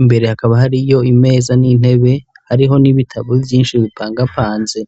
imbere hakaba hariyo imeza n'intebe hariho n'ibitabo vyinshi bipangapanze.